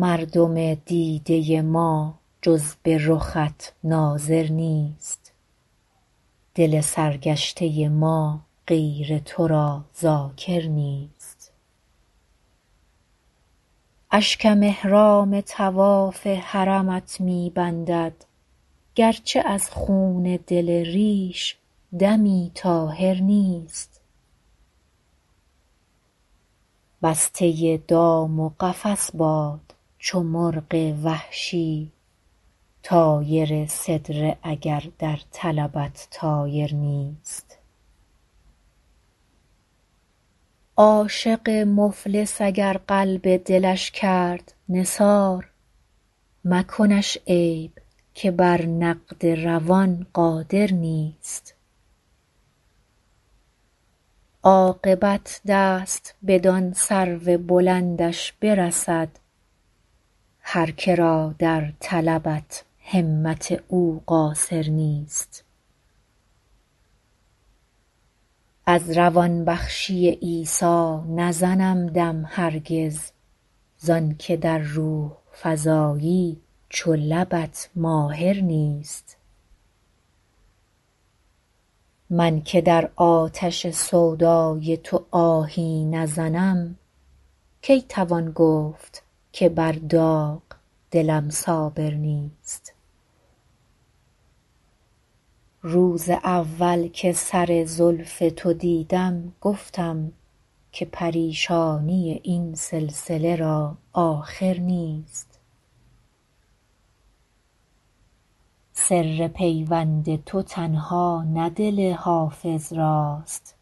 مردم دیده ما جز به رخت ناظر نیست دل سرگشته ما غیر تو را ذاکر نیست اشکم احرام طواف حرمت می بندد گرچه از خون دل ریش دمی طاهر نیست بسته دام و قفس باد چو مرغ وحشی طایر سدره اگر در طلبت طایر نیست عاشق مفلس اگر قلب دلش کرد نثار مکنش عیب که بر نقد روان قادر نیست عاقبت دست بدان سرو بلندش برسد هر که را در طلبت همت او قاصر نیست از روان بخشی عیسی نزنم دم هرگز زان که در روح فزایی چو لبت ماهر نیست من که در آتش سودای تو آهی نزنم کی توان گفت که بر داغ دلم صابر نیست روز اول که سر زلف تو دیدم گفتم که پریشانی این سلسله را آخر نیست سر پیوند تو تنها نه دل حافظ راست